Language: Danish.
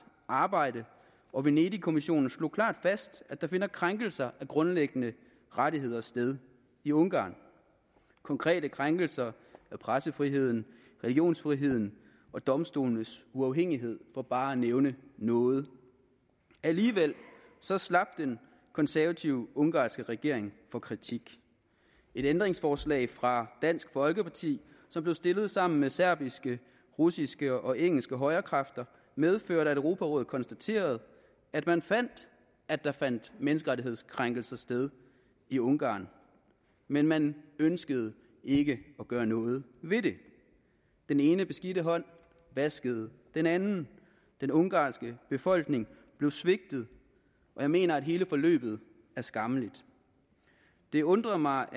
arbejde og venedig kommissionen slog klart fast at der finder krænkelser af grundlæggende rettigheder sted i ungarn konkrete krænkelser af pressefriheden religionsfriheden og domstolenes uafhængighed for bare at nævne noget alligevel slap den konservative ungarske regering for kritik et ændringsforslag fra dansk folkeparti som blev stillet sammen med serbiske russiske og engelske højrekræfter medførte at europarådet konstaterede at man fandt at der fandt menneskerettighedskrænkelser sted i ungarn men man ønskede ikke at gøre noget ved det den ene beskidte hånd vaskede den anden den ungarske befolkning blev svigtet og jeg mener at hele forløbet er skammeligt det undrer mig